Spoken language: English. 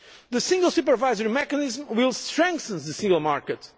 The single supervisory mechanism will strengthen the single market.